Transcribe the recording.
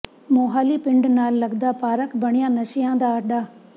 ਮੋਹਾਲੀ ਪਿੰਡ ਨਾਲ ਲਗਦਾ ਪਾਰਕ ਬਣਿਆ ਨਸ਼ਈਆਂ ਦਾ ਅੱਡਾ